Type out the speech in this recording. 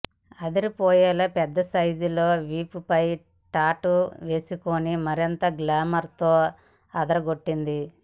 అదిరిపోయేలా పెద్ద సైజ్ లో వీపుపై టాటూ వేసుకుని మరింత గ్లామర్ తో అదరగొట్టింది